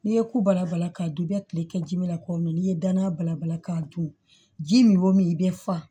N'i ye kulabala k'a dun i bɛ kile kɛ ji min na ko mɛn n'i ye danaya balabala k'a dun ji min o min i bɛ fa